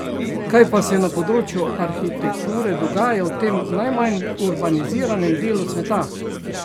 Kaj pa se na področju arhitekture dogaja v tem najmanj urbaniziranem delu sveta?